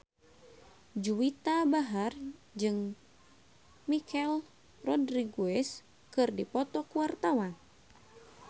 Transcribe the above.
Juwita Bahar jeung Michelle Rodriguez keur dipoto ku wartawan